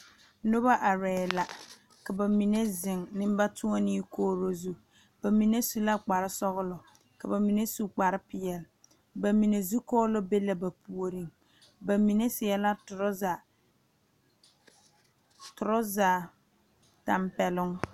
Noba arɛɛ la ka ba mine zeŋ nembatoɔnee kogiri zu ba mine su la kpar kpar sɔgelɔ ka ba minensu kpar peɛle ba mine zu kɔɔlɔ be la ba puoriŋ ba mine seɛ la torɔza tampɛloŋ